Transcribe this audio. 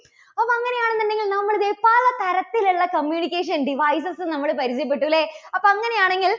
അപ്പോൾ അങ്ങനെയാണെന്നുണ്ടെങ്കിൽ നമ്മള് ദേ പല തരത്തിലുള്ള communication devices നമ്മള് പരിചയപ്പെട്ടു അല്ലേ? അപ്പോൾ അങ്ങനെയാണെങ്കിൽ